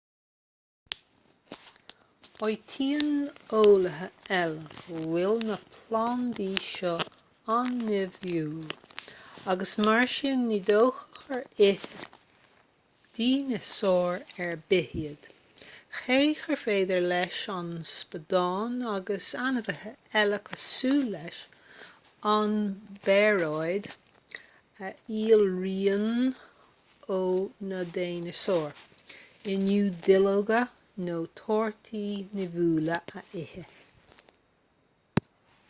áitíonn eolaithe eile go bhfuil na plandaí seo an-nimhiúil agus mar sin ní dócha gur ith dineasáir ar bith iad cé gur féidir leis an spadán agus ainmhithe eile cosúil leis an bpearóid a shíolraíonn ó na dineasáir inniu duilleoga nó torthaí nimhiúla a ithe